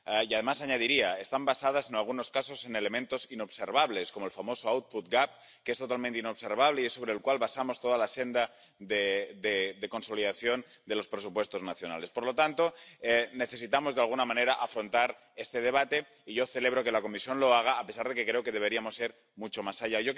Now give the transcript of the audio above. Además —añadiría—, están basadas en algunos casos en elementos inobservables como el famoso —que es totalmente inobservable— y es sobre el cual basamos toda la senda de consolidación de los presupuestos nacionales. Por lo tanto, necesitamos de alguna manera afrontar este debate y yo celebro que la Comisión lo haga a pesar de que creo que deberíamos ir mucho más allá.